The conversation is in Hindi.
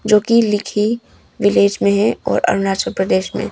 जो कि लेखी विलेज में है और अरुणाचल प्रदेश में है।